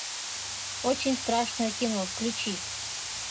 очень страшное кино включи